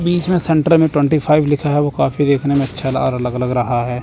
बीच में सेन्टर में twenty five लिखा है वो काफ़ी देखने में अच्छा अलग लग रहा है।